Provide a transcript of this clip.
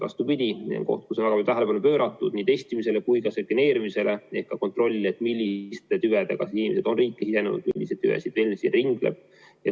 Vastupidi, tähelepanu on pööratud nii testimisele kui ka sekveneerimisele ehk kontrollile, milliste tüvedega on inimesed riiki sisenenud, milliseid tüvesid ringleb.